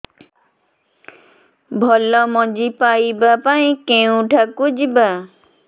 ଭଲ ମଞ୍ଜି ପାଇବା ପାଇଁ କେଉଁଠାକୁ ଯିବା